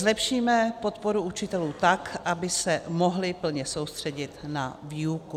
Zlepšíme podporu učitelů tak, aby se mohli plně soustředit na výuku.